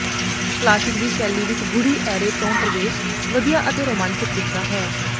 classic ਦੀ ਸ਼ੈਲੀ ਵਿੱਚ ਗੂੜ੍ਹੀ ਐਰੇ ਤੋਂ ਪ੍ਰਵੇਸ਼ ਵਧੀਆ ਅਤੇ ਰੋਮਾਂਚਕ ਦਿਖਦਾ ਹੈ